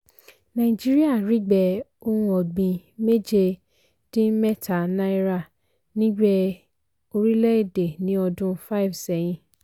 nàìjíríà rígbẹ́ ohun ọ̀gbìn mẹ́jẹ dín mẹ́ta náírà nígbé orílẹ̀ èdè ní ọdún five sẹ́yìn